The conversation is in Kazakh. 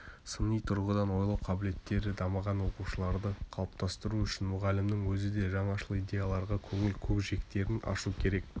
сыни тұрғыдан ойлау қабілеттері дамыған оқушыларды қалыптастыру үшін мұғалімнің өзі де жаңашыл идеяларға көңіл көкжиектерін ашу керек